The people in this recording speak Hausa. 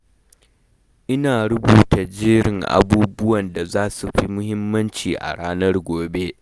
Ina rubuta jerin abubuwan da za su fi muhimmanci a ranar gobe.